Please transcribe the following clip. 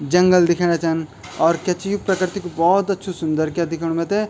जंगल दिख्येणा छन और क्या च यू प्रकृति कू भौत अच्छू सुंदर क्या दिख्येणू मैथे।